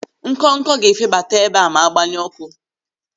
Ńkònkò ga-efebata ebe a ma a gbanye ọ́kụ́.